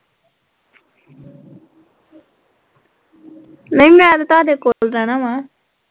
ਨਈ ਮੈਂ ਤਾਂ ਤਾਡੇ ਕੋਲ ਰਹਿਣਾ ਵਾ